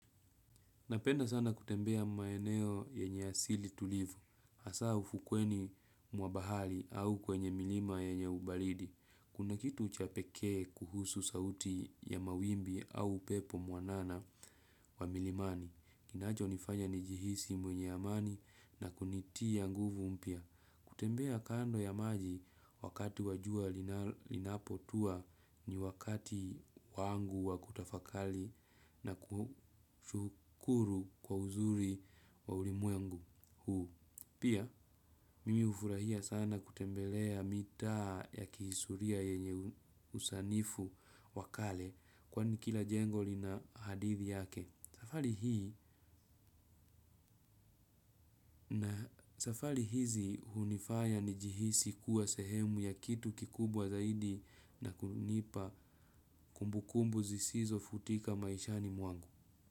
Napenda sana kutembea maeneo yenye asili tulivu. Hasa ufukweni mwa bahari au kwenye milima yenye ubaridi. Kuna kitu cha pekee kuhusu sauti ya mawimbi au upepo mwanana wa milimani. Kinacho nifanya nijihisi mwenye amani na kunitia nguvu mpya. Kutembea kando ya maji wakati wa jua linapotua ni wakati wangu wa kutafakari na kushukuru kwa uzuri wa ulimwengu huu. Pia, mimi hufurahiya sana kutembelea mitaa ya kihistoriya yenye usanifu wa kale kwani kila jengo lina hadithi yake. Safari hii na safari hizi hunifaya nijihisi kuwa sehemu ya kitu kikubwa zaidi na kunipa kumbukumbu zisizo futika maishani mwangu.